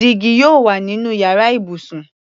Dígí yóò wà nínú yàrá ibùsùn.